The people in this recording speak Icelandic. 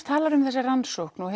talað um þessa rannsókn og